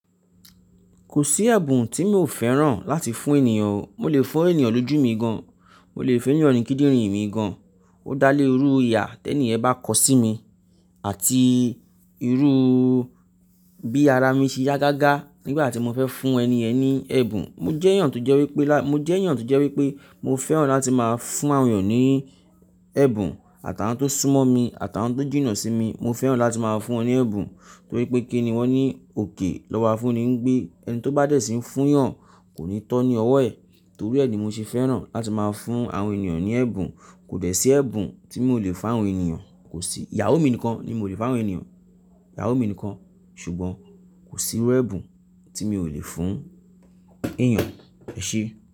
Kò sí ẹ̀bùn tí mi ò fẹ́ràn láti fún ènìyàn. Mo lè fún ènìyàn lójú mi gan, mo lè fún ènìyàn ní kídìnrín mi gan, ó dá lé irú iyà tẹ ni ẹ̀ bá kọ sí mi àti irú bí ara mi ṣe yá gágá nígbà tí mo fẹ́ fún ẹni yẹn ni ẹ̀bùn. Mo jẹ́ ènìyàn tó jẹ́ wípé, mo jẹ́ ènìyàn tó jẹ́ wípé mo fẹ́ràn láti máa fún àwọn ènìyàn ní ẹ̀bùn. Àtàwon tó súnmọ́ mi, àtàwon tó jìnnà sí mi, mo fẹ́ràn láti máa fún wọn ní ẹ̀bùn torí pé kí ni wọ́n ní òkè lọ́wọ́ afún ni gbé ẹni tó bá dẹ̀ síí fún yàn kò ní tọ́ ní ọwọ́ ẹ̀ torí ẹ ni mo ṣe fẹ́ràn láti máa fún àwọn ènìyàn ní ẹ̀bùn. Kò dẹ̀ sí ẹ̀bùn tí mi ò lè fún àwọn ènìyàn, kò sí, ìyàwó mi nìkan ni mi ò lè fún àwọn ènìyàn. Ìyàwó mi nìkan, ṣùgbọ́n kò sí irú ẹ̀bùn tí mi ò lè fún èeyàn. Ẹ ṣe?